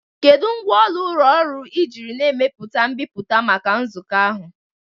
Kedu ngwaọrụ ụlọ ọrụ ị jiri na-emepụta mbipụta maka nzukọ ahụ?